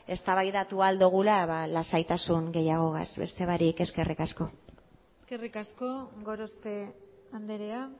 eztabaidatu ahal dugula lasaitasun gehiagogaz beste barik eskerrik asko eskerrik asko gorospe andrea